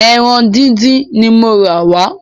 Ẹran dídín ní mo rà wà